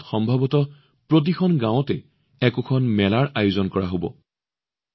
শাওণ মাহত সম্ভৱতঃ প্ৰতিখন গাঁৱত এখন মেলা বহেই